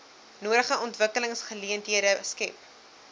nodige ontwikkelingsgeleenthede skep